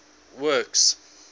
works